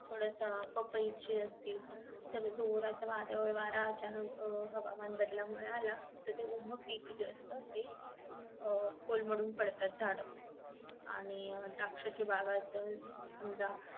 थोडासा पपई ची असतील तर जोराचं वादळ वारा अचानक अह हवामान बदला मुळे आला तर जे उभं पीक जे असत ते अह कोलमडून पडतात झाड आणि द्राक्षाची बागायत समजा